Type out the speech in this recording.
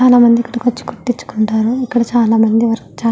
చాలా మంది ఇక్కడికి వచ్చి కుట్టించుకుంటారు ఇక్కడ చాలామంది వర్క్ చే --